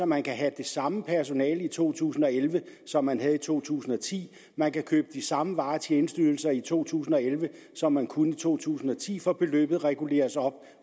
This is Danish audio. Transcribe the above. man kan have det samme personale i to tusind og elleve som man havde i to tusind og ti man kan købe de samme varer og tjenesteydelser i to tusind og elleve som man kunne i to tusind og ti for beløbet reguleres op